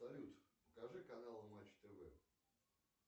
салют покажи канал матч тв